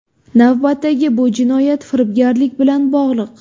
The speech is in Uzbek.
Navbatdagi bu jinoyat firibgarlik bilan bog‘liq.